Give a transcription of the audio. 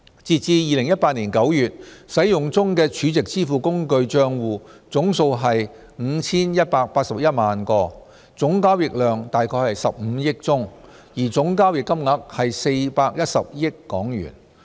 截至2018年9月，使用中的儲值支付工具帳戶總數為 5,181 萬個，總交易量約為15億宗，而總交易金額為410億港元。